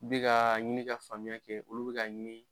N bi ka ɲini ka faamuya kɛ ,olu bi ka ɲini